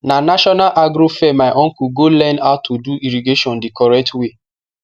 na national agro fair my uncle go learn how to do irrigation the correct way